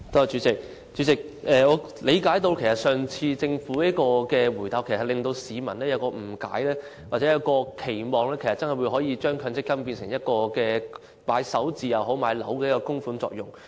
主席，政府上次的答覆，是會令市民誤解或期望將來可以把強積金供款作首置或購買物業之用。